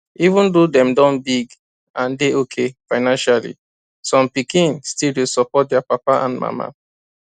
even though dem don big and dey okay financially some pikin still dey support their papa and mama